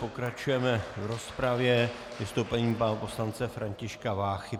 Pokračujeme v rozpravě vystoupením pana poslance Františka Váchy.